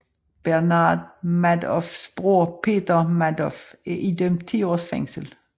Bernard Madoffs bror Peter Madoff er idømt 10 års fængsel